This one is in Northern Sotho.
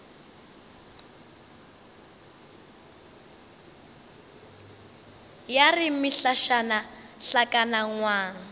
ya re mehlašana hlakana ngwang